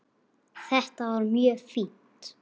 Þetta var mjög fínt.